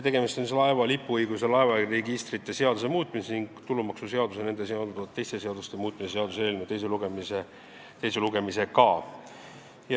Tegemist on laeva lipuõiguse ja laevaregistrite seaduse muutmise ning tulumaksuseaduse ja nendega seonduvalt teiste seaduste muutmise seaduse eelnõu teise lugemisega.